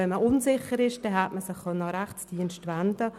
Wenn man unsicher ist, kann man sich an den Rechtsdienst wenden.